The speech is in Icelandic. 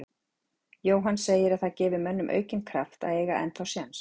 Jóhann segir að það gefi mönnum aukinn kraft að eiga ennþá séns.